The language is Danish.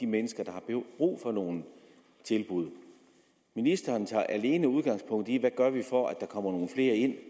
mennesker der har brug for nogle tilbud ministeren tager alene udgangspunkt i hvad vi gør for at der kommer nogle flere ind